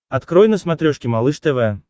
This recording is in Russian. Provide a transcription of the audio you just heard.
открой на смотрешке малыш тв